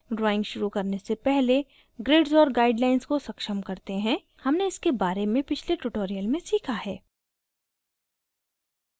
drawing शुरू करने से पहले grids और guidelines को सक्षम करते हैं